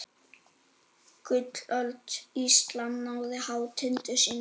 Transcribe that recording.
Gullöld Íslam náði hátindi sínum.